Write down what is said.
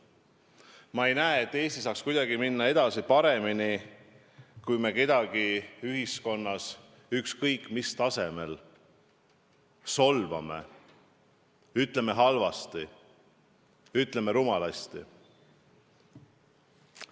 Ma ei näe, et Eesti saaks kuidagi paremini edasi minna, kui me kedagi ühiskonnas ükskõik mis tasemel solvame, ütleme halvasti, ütleme rumalasti.